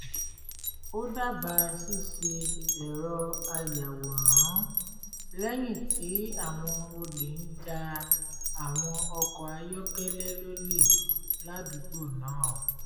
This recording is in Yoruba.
ó dábàá ṣíṣe ẹ̀rọ ayàwọ̀rán lẹ́yìn tí àwọn olé ń ja àwọn ọkọ̀ ayọ́kẹ́lẹ́ lólè ládùúgbò náà